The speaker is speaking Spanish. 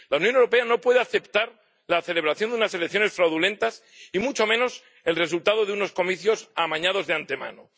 La Unión Europea no puede aceptar la celebración de unas elecciones fraudulentas y mucho menos el resultado de unos comicios amañados de antemano.